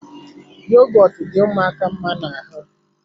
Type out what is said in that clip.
Yogọtu dị ụmụaka mma ná ahụ